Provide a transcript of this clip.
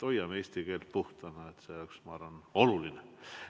Hoiame eesti keelt puhtana, ma arvan, et see on oluline.